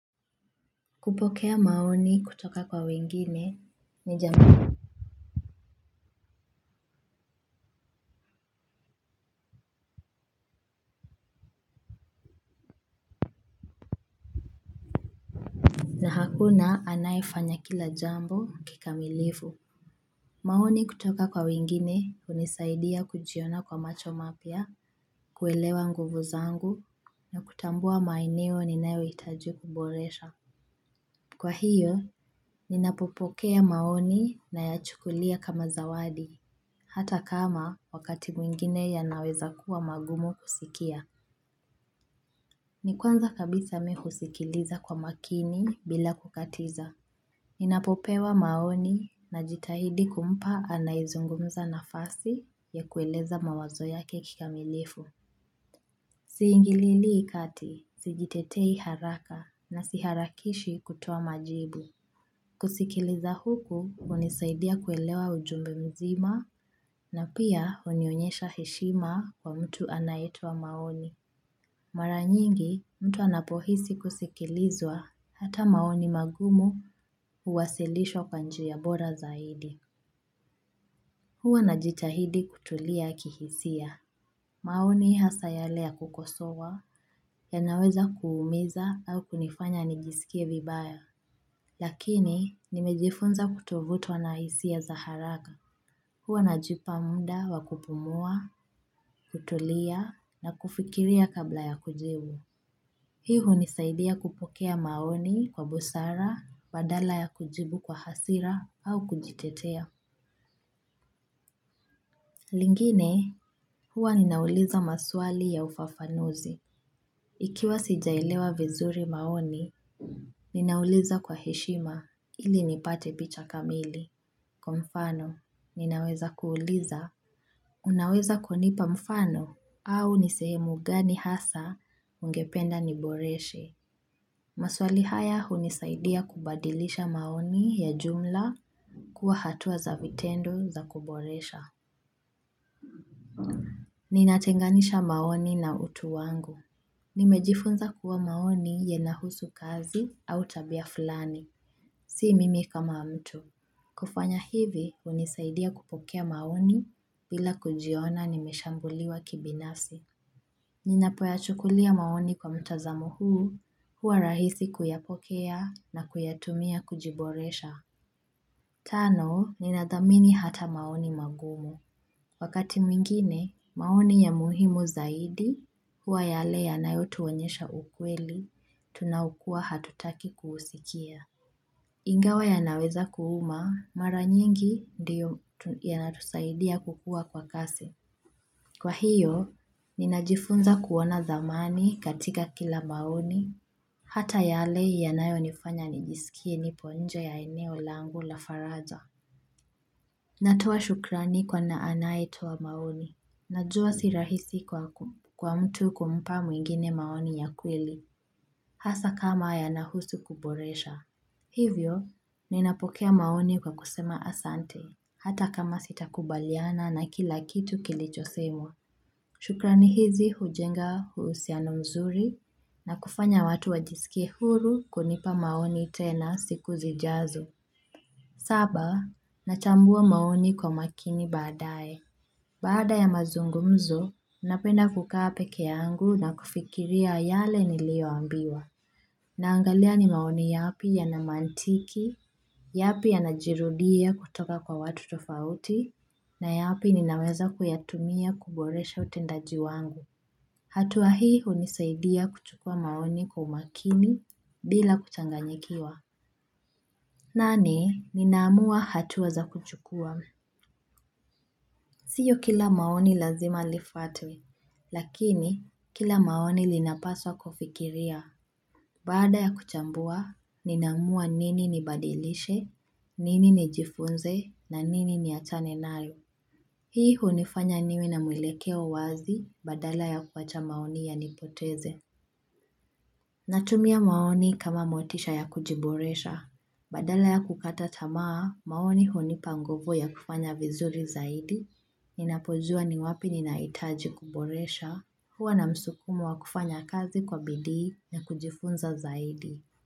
Kupokea maoni kutoka kwa wengine ni jama na hakuna anaifanya kila jambo kikamilifu maoni kutoka kwa wengine unisaidia kujiona kwa macho mapia, kuelewa nguvu zangu, na kutambua maeneo ninaeoitajuu kuboresha Kwa hiyo, ninapopokea maoni nayachukulia kama zawadi, hata kama wakati mwingine yanaweza kuwa magumu kusikia Nikwanza kabisa mihusikiliza kwa makini bila kukatiza. Ninapopewa maoni na jitahidi kumpa anaizungumza nafasi ya kueleza mawazo yake kikamilifu. Siingilili kati, sijitetei haraka na siharakishi kutowa majibu. Kusikiliza huku, unisaidia kuelewa ujumbe mzima na pia unionyesha heshima kwa mtu anayetowa maoni. Mara nyingi, mtu anapohisi kusikilizwa hata maoni magumu kuwasilishwa kwa njia bora zaidi. Huwa na jitahidi kutulia kihisia. Maoni hasa yale ya kukosowa yanaweza kuumiza au kunifanya nijisikie vibaya. Lakini, nimejifunza kutovutwa na hisia za haraka. Huwa najipa muda wa kupumua, kutulia na kufikiria kabla ya kujibu. Hii unisaidia kupokea maoni kwa busara, badala ya kujibu kwa hasira au kujitetea. Lingine, huwa ninauliza maswali ya ufafanuzi. Ikiwa sijailewa vizuri maoni, ninauliza kwa heshima ili nipate picha kamili. Kwa mfano, ninaweza kuuliza. Unaweza kunipa mfano au nisehemu gani hasa ungependa niboreshe. Maswali haya unisaidia kubadilisha maoni ya jumla kuwa hatua za vitendo za kuboresha. Ninatenganisha maoni na utu wangu. Nimejifunza kuwa maoni yenahusu kazi au tabia fulani, si mimi kama mtu. Kufanya hivi unisaidia kupokea maoni bila kujiona nimeshambuliwa kibinafsi. Ninapoya chukulia maoni kwa mtazamo huu, hua rahisi kuyapokea na kuyatumia kujiboresha. Tano, ninadamini hata maoni magumu. Wakati mwingine, maoni ya muhimu zaidi, hua yale yanayotuwonyesha ukweli, tunaukua hatutaki kuhusikia. Ingawa yanaweza kuhuma, mara nyingi ndiyo yanatusaidia kukua kwa kasi. Kwa hiyo, ninajifunza kuona thamani katika kila maoni, hata yale yanayo nifanya nijisikie nipo nje ya eneo langu la faraja. Natoa shukrani kwa na anaetowa maoni. Najua sirahisi kwa mtu kumpa mwingine maoni ya kweli, hasa kama yanahusu kuboresha. Hivyo, ninapokea maoni kwa kusema asante, hata kama sitakubaliana na kila kitu kilicho semwa. Shukrani hizi hujenga uhusiano mzuri na kufanya watu wajisikie huru kunipa maoni tena siku zijazo. Saba, nachambua maoni kwa makini baadaye. Bada ya mazungumzo, napenda kuka pekeangu na kufikiria yale nilioambiwa. Naangalia ni maoni yapi ya namantiki, yapi ya najirudia kutoka kwa watu tofauti, na yapi ninaweza kuyatumia kuboresha utendaji wangu. Hatuwa hii unisaidia kuchukua maoni kwa umakini bila kuchanganyikiwa nane ninamua hatuwa za kuchukua Siyo kila maoni lazima lifuatwe lakini kila maoni linapaswa kufikiria Baada ya kuchambua ninamua nini nibadilishe nini nijifunze na nini niachane nalo Hii unifanya niwe na mwelekeo wazi badala ya kuacha maoni yanipoteze Natumia maoni kama motisha ya kujiboresha. Badala ya kukata tamaa, maoni hunipa nguvu ya kufanya vizuri zaidi, ninapojua ni wapi ninaitaji kuboresha, huwa na msukumo wa kufanya kazi kwa bidi ya kujifunza zaidi.